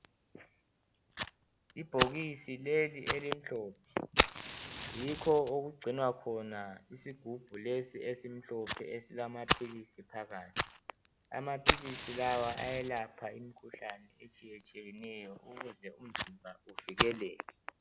Ibhokisi leli elimhlophe yikho okugcinwa khona isigubhu lesi esimhlophe esilamaphilisi phakathi. Amaphilisi lawa ayelapha imkhuhlane etshiyetshiyeneyo ukuze umzimba uvikeleke.